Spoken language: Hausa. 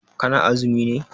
Ka na azumi ne?